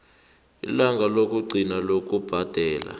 ilanga lokugcina lokubhadela